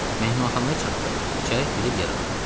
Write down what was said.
Mehmanxanaya çatdıq, içəri girib yer aldıq.